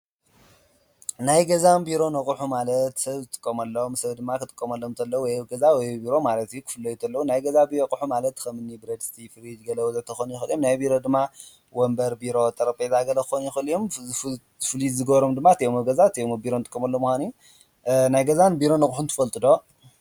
ናይ ገዛነ ብሮነ ኣቁሕት ማለትሰብዝጥቀመሎሞ ሰብ ደማ ክ ጥቀመሎም ወይ ኣብገዛ ወይ ኣብ ቢሮ ቡዛሓት ወየ ኣብ ገዛ ናይ ገዛ በሮ ኣቁሑ ማለት ብረዲስትወይ ወዘተክኮኑ ይከእሉእዮሞ፡፡ ናይ ብሮደማ ወነበረ ጠረጴዛገለ ክኮኑይክእሉ እዮሞ፡፡ እትፉሉይ ዝገብሮም ዲማ አት ኣብ ቢሮ እት እብ ገዛ እኒጥቀመሎሞ ምካኖሞእዩ፡፡ ናይ ገዛነ ቢሮ ኣቁሒት ትፈልጡዶ?